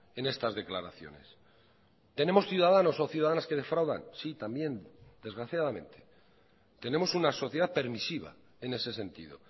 en estas declaraciones tenemos ciudadanos o ciudadanas que defraudan sí también desgraciadamente tenemos una sociedad permisiva en ese sentido